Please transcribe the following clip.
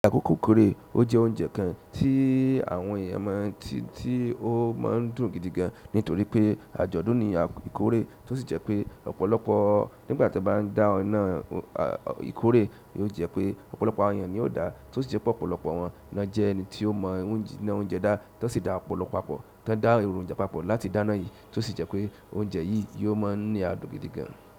Àkókò ìkórè, ó jẹ́ oúnjẹ kan tí àwọn èèyàn máa ń ti tí ó máa ń dùn gidi gan-an nítorí pé àjọ̀dún ni ìkórè tó sì jẹ́ pé ọ̀pọ̀lọpọ̀ nígbàtí wọ́n bá ń dá iná ìkórè, yóò jẹ́ pé ọ̀pọ̀lọpọ̀ àwọn èèyàn ni yóò dá á tó sì jẹ́ pe ọ̀pọ̀lọpọ̀ wọ́n náà jẹ́ ẹni tí ó mọ̀ náà oúnjẹ dá á tó sì dá ọ̀pọ̀lọ pá pọ̀ tán dá èròjà papọ̀ láti dáná yìí tó sì jẹ́ pé oúnjẹ yìí yóò máa ń ní àdùn gidi gan-an.